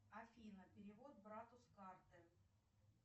афина перевод брату с карты